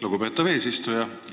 Lugupeetav eesistuja!